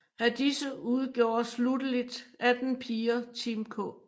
Af disse udgjorde slutteligt 18 piger Team K